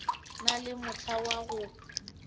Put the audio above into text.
na le mohla wa go